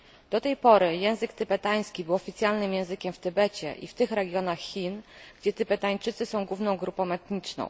Do tej pory język tybetański był oficjalnym językiem w Tybecie i w tych regionach Chin, gdzie Tybetańczycy są główną grupą etniczną.